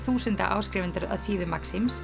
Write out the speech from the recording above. þúsunda áskrifendur að síðu